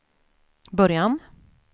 början